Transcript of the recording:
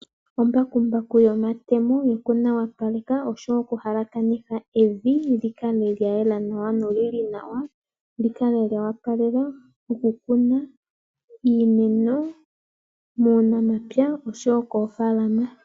Ombakumbaku yomatemo yoku nawapaleka nosho wo oku halakanitha evi, li kale lya yela nawa, noli li nawa, li kale lyo opalela okukuna iimeno muunamapya, osho wo koofaalama.